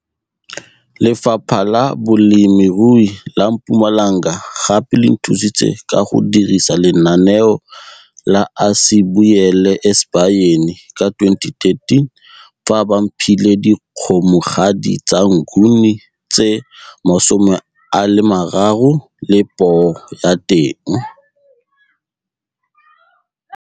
Lefapha la Bolemirui la Mpumalanga gape le nthusitse ka go dirisa lenaneo la Asibuyele Esibayeni ka 2013 fa ba mphile dikgomogadi tsa Nguni tse 30 le poo ya teng.